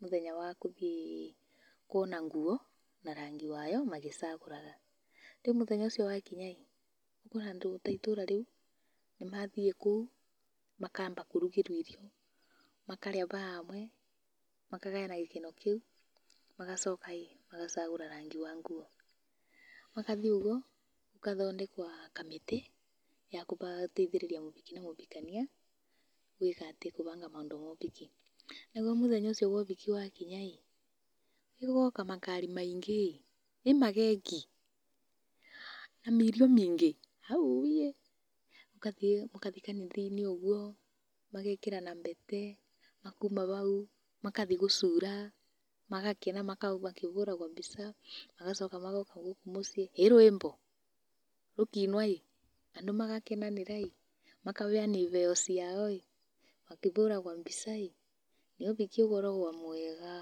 mũthenya wa kũthiĩ kuona nguo na rangi wayo magĩcagũraga, rĩu mũthenya ũcio wakinya ũkona andũ ta itũra rĩu nĩmathiĩ kũu makamba kũrugĩrwo irio, makarĩa bamwe, makagayana gĩkeno kĩu, magacoka ĩĩ magacagũra rangi wa nguo. Makathiĩ ũguo gũkathondekwa kamĩtĩ ya guteithĩrĩria mũbiki na mũbikania gwĩka atĩ, kũbanga maũndũ ma ũbiki. Naguo mũthenya ũcio wa ũbiki wakinya ĩĩ, gũgoka makari maingi ĩĩ, ĩĩ mageki na ma irio maingi auiiĩ! gũkathiĩ mũkathiĩ kanitha-inĩ ũguo, magekĩrana mbete makoima bau, makathiĩ gũcũra magakena makĩbũragwa mbica magocoka magoka gũkũ muciĩ, ĩĩ rwimbo, rũkiinwa ĩĩ andũ magakenanira ĩĩ, makabeana ibeo ciao ĩĩ, makibũragwo mbica ĩĩ, ĩĩ ũbiki ũkoragwa mwega.